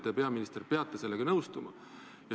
Teie, peaminister, peate sellega nõustuma.